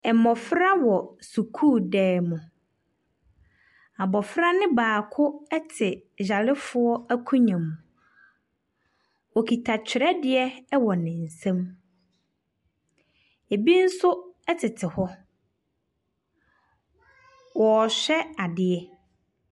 Mmɔfra wɔ sukuudan mu, abɔfra no baako te ayarefoɔ akonnwa mu, okita twerɛdeɛ wɔ ne nsam, bi nso tete hɔ, wɔrehwɛ adeɛ.